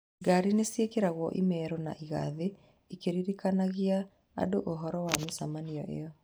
Ngari nĩcĩekĩragwo imero na igathiĩ ikĩririkanagia andũ ũhoro wa mĩcemanio ĩyo